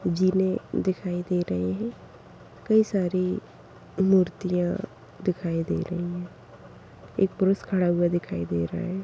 जीने दिखाई दे रहे हैं कई सारी मूर्तियां दिखाई दे रही एक पुरुष खड़ा हुआ दिखाई दे रहा--